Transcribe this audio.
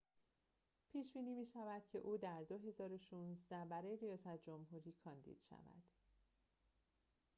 پیش‌بینی می‌شود که او در ۲۰۱۶ برای ریاست جمهوری کاندید شود